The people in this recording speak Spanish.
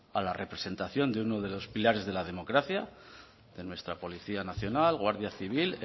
a la representación de uno de los pilares de la democracia de nuestra policía nacional guardia civil